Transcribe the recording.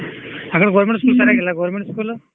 ಹಾಗಾದ್ರೆ government school ಚೆನಾಗಿಲ್ಲ government school .